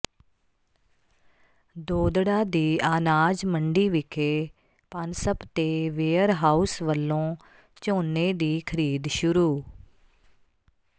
ਦੋਦੜਾ ਦੀ ਆਨਾਜ ਮੰਡੀ ਵਿਖੇ ਪਨਸਪ ਤੇ ਵੇਅਰ ਹਾਊਸ ਵੱਲੋਂ ਝੋਨੇ ਦੀ ਖ਼ਰੀਦ ਸ਼ੁਰੂ